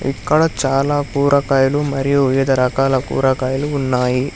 ఇక్కడ చాలా కూరకాయలు మరియు వివిధ రకాల కూరకాయలు ఉన్నాయి.